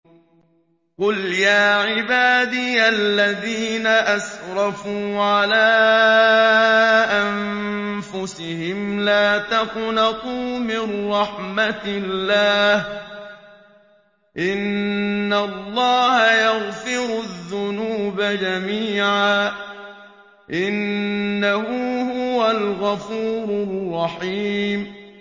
۞ قُلْ يَا عِبَادِيَ الَّذِينَ أَسْرَفُوا عَلَىٰ أَنفُسِهِمْ لَا تَقْنَطُوا مِن رَّحْمَةِ اللَّهِ ۚ إِنَّ اللَّهَ يَغْفِرُ الذُّنُوبَ جَمِيعًا ۚ إِنَّهُ هُوَ الْغَفُورُ الرَّحِيمُ